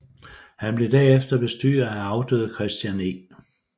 Han blev derefter bestyrer af afdøde Christian E